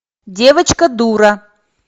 девочка дура